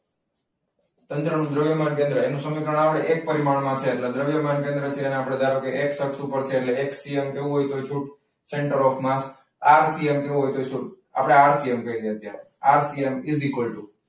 તંત્રનું દ્રવ્યમાન કેન્દ્ર એનું સમીકરણ આપણે દ્રવ્યમાન કેન્દ્ર છે એને આપણે ધારો કે X અક્ષ ઉપર છે એટલે એક્સી અંક લેવું હોય તો એ છૂટ સેન્ટર ઓફ માસ .